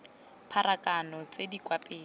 pharakano tse di kwa pele